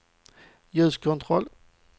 ljuskontroll